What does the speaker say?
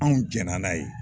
Anw jɛn na n'a ye.